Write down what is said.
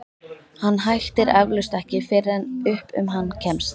Hann hættir eflaust ekki fyrr en upp um hann kemst.